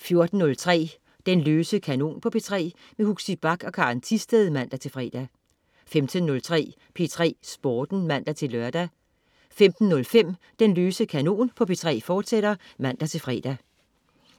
14.03 Den løse kanon på P3. Huxi Bach og Karen Thisted (man-fre) 15.03 P3 Sporten (man-lør) 15.05 Den løse kanon på P3, fortsat (man-fre)